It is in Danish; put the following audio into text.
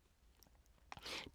DR1